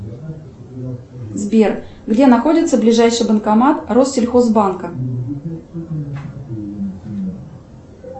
сбер где находится ближайший банкомат россельхозбанка